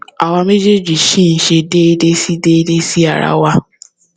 àwa méjèèjì ṣì ń ṣe déédé sí déédé sí ara wa